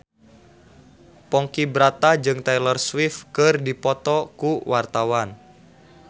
Ponky Brata jeung Taylor Swift keur dipoto ku wartawan